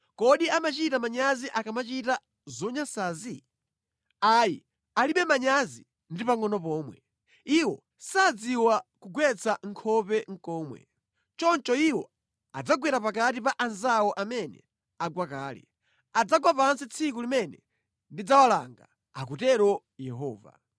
Kodi amachita manyazi akamachita zonyansazi? Ayi, alibe manyazi ndi pangʼono pomwe; iwo sadziwa nʼkugwetsa nkhope komwe. Choncho iwo adzagwera pakati pa anzawo amene agwa kale; adzagwa pansi tsiku limene ndidzawalanga, akutero Yehova.